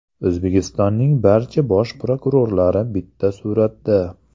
O‘zbekistonning barcha bosh prokurorlari bitta suratda.